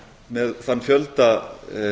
með þann fjölda